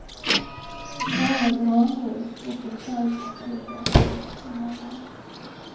Bara granris och en plywoodskiva fanns emellan oss.